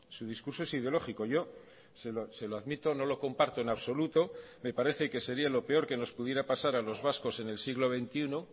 su discurso es ideológico yo se lo admito no lo comparto en absoluto me parece que sería lo peor que nos pudiera pasar a los vascos en el siglo veintiuno